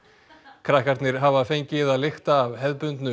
krakkarnir hafa fengið að lykta af hefðbundnu